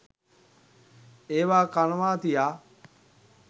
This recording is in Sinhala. ඒවා කනවා තියා